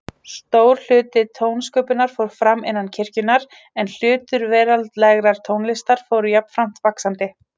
Stór hluti tónsköpunar fór fram innan kirkjunnar, en hlutur veraldlegrar tónlistar fór jafnframt vaxandi.